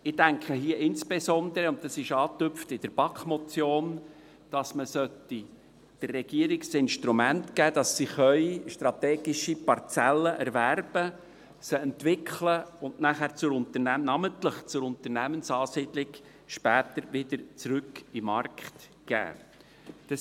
Ich denke hier insbesondere – und dies ist in der BaK-Motion angetupft –, dass man der Regierung Instrumente geben sollte, damit sie strategische Parzellen erwerben, sie entwickeln und namentlich zur Unternehmensansiedlung später wieder zurück in den Markt geben kann.